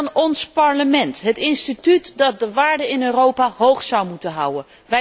Dan ons Parlement, het instituut dat de waarden in Europa hoog zou moeten houden.